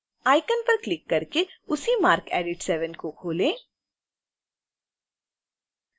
icon पर click करके उसी marcedit 7 को खोलें